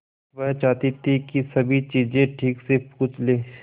वह चाहती थी कि सभी चीजें ठीक से पूछ ले